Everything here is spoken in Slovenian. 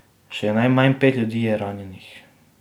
Še najmanj pet ljudi je ranjenih.